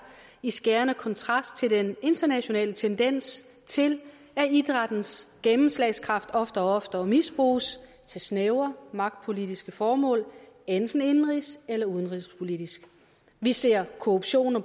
i skærende kontrast til den internationale tendens til at idrættens gennemslagskraft oftere og oftere misbruges til snævre magtpolitiske formål enten indenrigs eller udenrigspolitisk vi ser korruption og